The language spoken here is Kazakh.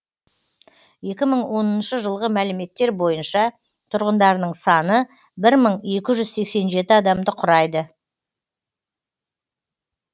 екі мың оныншы жылғы мәліметтер бойынша тұрғындарының саны бір мың екі жүз сексен жеті адамды құрайды